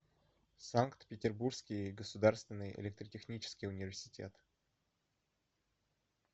санкт петербургский государственный электротехнический университет